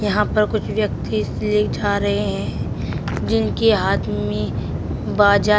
यहां पर कुछ व्यक्ति इसलिए जा रहे है जिनके हाथ में बाजा--